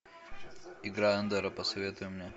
игра эндера посоветуй мне